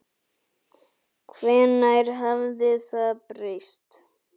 Hvenær hafði það breyst?